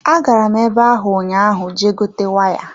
Agara m ebe hụ ụnyaahụ Je gote waya.